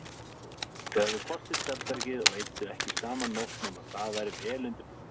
Þau höfðu hvort sitt svefnherbergið og eyddu ekki saman nótt nema það væri vel undirbúið.